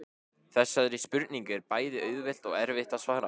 Þessari spurningu er bæði auðvelt og erfitt að svara.